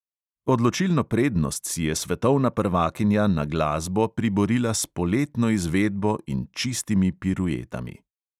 Odločilno prednost si je svetovna prvakinja na glasbo priborila s poletno izvedbo in čistimi piruetami.